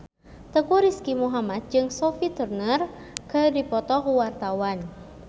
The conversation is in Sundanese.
Teuku Rizky Muhammad jeung Sophie Turner keur dipoto ku wartawan